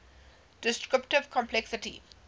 descriptive complexity